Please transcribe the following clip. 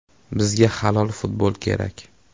Bizga halol futbol kerak.